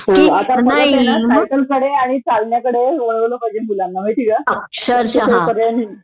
आता खरचेना सायकलकडे आणि चालण्याकडे वळवलं पाहिजे मुलांना माहीतेका